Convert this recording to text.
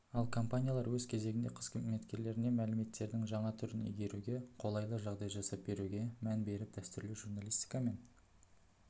ал компаниялар өз кезегінде қызметкерлеріне мәліметтердің жаңа түрін игеруге қолайлы жағдай жасап беруге мән беріп дәстүрлі журналистика мен